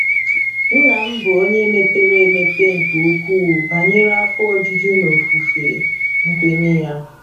Nna m bụ onye mepere emepe nke ukwuu banyere afọ ojuju n'ofufe nkwenye ya.